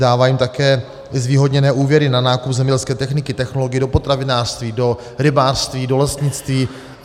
Dává jim také zvýhodněné úvěry na nákup zemědělské techniky, technologií do potravinářství, do rybářství, do lesnictví.